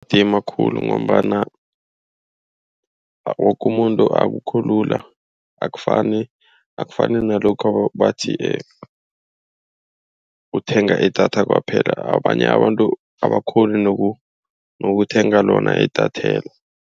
makhulu ngombana woke umuntu. Akukho lula akufani, akufani nalokha bathi uthenga idatha kwaphela. Abanye abantu abakghoni nokuthenga lona idatheli.